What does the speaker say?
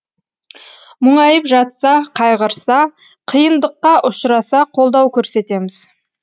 мұңайып жатса қайғырса қиындыққа ұшыраса қолдау көрсетеміз